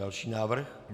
Další návrh.